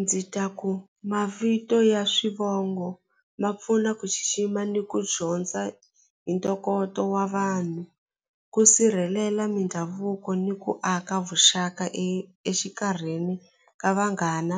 Ndzi ta ku mavito ya swivongo ma pfuna ku xixima ni ku dyondza hi ntokoto wa vanhu ku sirhelela mindhavuko ni ku aka vuxaka e exikarhini ka vanghana